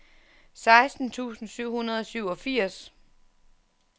seksten tusind syv hundrede og syvogfirs